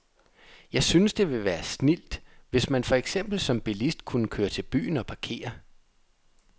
Jeg synes, det ville være snildt, hvis man for eksempel som bilist kunne køre til byen og parkere.